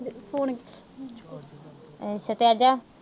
ਏ